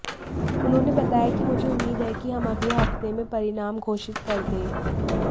उन्होंने बताया कि मुझे उम्मीद है कि हम अगले हफ्ते में परिणाम घोषित कर दें